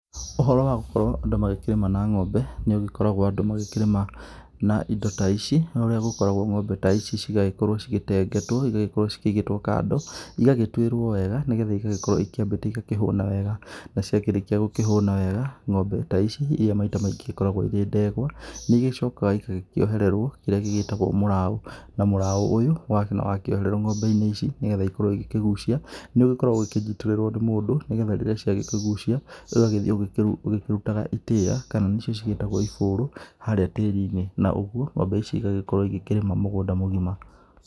Ũhoro wa gũkorwo andũ magĩkĩrĩma na ng'ombe nĩ ũgĩkoragwo andũ magĩkĩrĩma na indo ta ici, ũrĩa ũgĩkoragwo ng'ombe ta ici cigagĩkorwo cigĩtengetwo igagĩkorwo cikĩigĩtwo kando, igagĩtuĩrwo wega nĩ getha igagĩkorwo ikĩambĩte igakĩhũna wega. Na ciakĩrĩka gũkĩhũna wega ng'ombe ta ici iria maita maingĩ igĩkoragwo irĩ ndegwa nĩ igĩcokaga igakĩohererwo kĩrĩa gĩgĩtagwo mũraũ. Na mũraũ ũyũ wakĩohererwo ng'ombe-inĩ ici nĩ getha ikorwo igikĩgucia, nĩ ũgĩkoragwo ũgĩkĩnyitĩrĩrwo nĩ mũndũ nĩ gethga rĩrĩa ciagĩkĩgucia igathiĩ ũgĩkĩrutaga itĩa kana nĩcio ciĩtagwo ibũrũ harĩa tĩri-inĩ. Na ũguo ng'ombe ici igagĩkorwo igĩkĩrĩma mũgũnda mũgima.